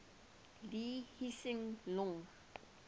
lee hsien loong